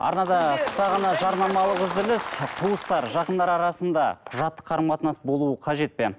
арнада қысқа ғана жарнамалық үзіліс туыстар жақындар арасында құжатты қарым қатынас болуы қажет пе